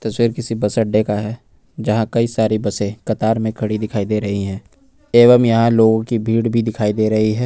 किसी बस अड्डे का है जहां कई सारी बसें कतार में खड़ी दिखाई दे रही हैं एवं यहां लोगों की भीड़ भी दिखाई दे रही है।